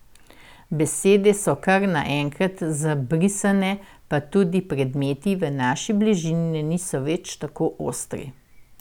Besede so kar nenkrat zabrisane, pa tudi predmeti v naši bližini niso več tako ostri.